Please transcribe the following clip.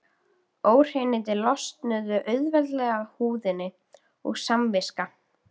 Óhreinindin losnuðu auðveldlega af húðinni og samviska